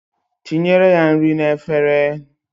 Tinyere ya nri n'efere.